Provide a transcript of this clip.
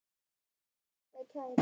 Þau eru minnar gæfu smiðir.